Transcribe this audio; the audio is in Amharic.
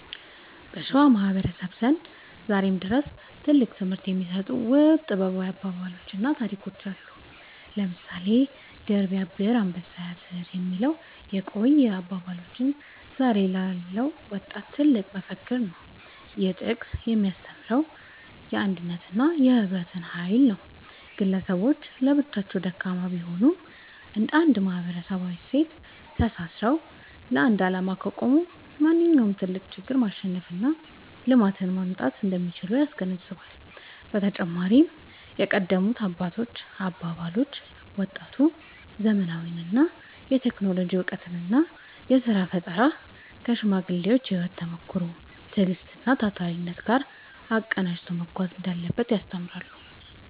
በሸዋ ማህበረሰብ ዘንድ ዛሬም ድረስ ትልቅ ትምህርት የሚሰጡ ውብ ጥበባዊ አባባሎችና ታሪኮች አሉ። ለምሳሌ «ድር ቢያብር አንበሳ ያስር» የሚለው የቆየ አባባላችን ዛሬ ላለው ወጣት ትልቅ መፈክር ነው። ይህ ጥቅስ የሚያስተምረው የአንድነትንና የህብረትን ኃይል ነው። ግለሰቦች ለብቻቸው ደካማ ቢሆኑም፣ እንደ አንድ ማህበራዊ እሴቶች ተሳስረው ለአንድ ዓላማ ከቆሙ ማንኛውንም ትልቅ ችግር ማሸነፍና ልማትን ማምጣት እንደሚችሉ ያስገነዝባል። በተጨማሪም የቀደሙት አባቶች አባባሎች፣ ወጣቱ ዘመናዊውን የቴክኖሎጂ እውቀትና የሥራ ፈጠራ ከሽማግሌዎች የህይወት ተሞክሮ፣ ትዕግስትና ታታሪነት ጋር አቀናጅቶ መጓዝ እንዳለበት ያስተምራሉ።